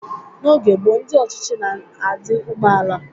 N'oge gboo, ndị ọchịchị na-adị umeala.